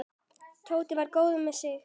Tóti var góður með sig.